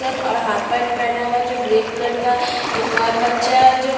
T shirt और half pant पहना हुआ जो ग्रे कलर का एक और बच्चा है जो--